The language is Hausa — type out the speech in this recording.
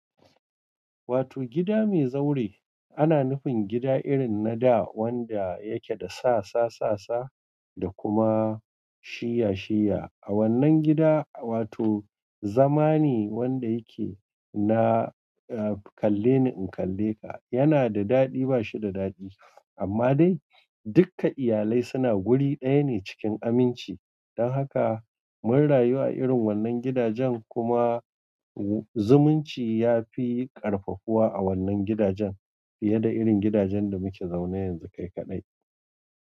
Wato gida mai zaure ana nufin gida irin na da wanda yake da sasa-sasa da kuma shiyya-shiyya. A wannan gida, wato zama ne wanda yake na "kalle ni in kalle ka" yana da daɗi ba shi da daɗi. Amma dai dukka iyalai suna guri ɗaya ne cikin aminci. Don haka mun rayu a irin wannan gidajen kuma zumunci ya fi ƙarfafuwa a wannan gidajen fiye da irin gidajen da muke zaune yanzu kai kaɗai.